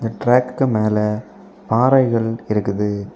ட்ராக்குக்கு மேல ஆறைகள் அண்ட் இருக்குது.